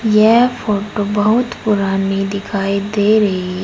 यह फोटो बहुत पुरानी दिखाई दे रही है।